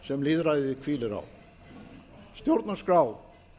sem lýðræðið hvílir á stjórnarskrá